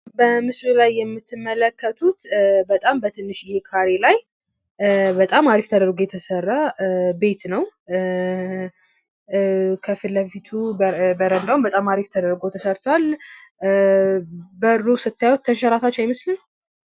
በምስሉ ላይ የምትመለከቱት በጣም በትንሽዬ ካሬ ላይ በጣም ሃሪፍ ተደርጎ የተሰራ ቤትን ነው። ከፊት ለፊቱ በረንዳውም በጣም አሪፍ ተደርጎ ተሰርቱዋል። በሩ ስታዩት ተንሸራታች አይመስልም?